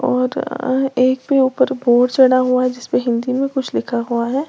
और एक पे ऊपर बोर्ड चढ़ा हुआ है जिसपे हिंदी में कुछ लिखा हुआ है।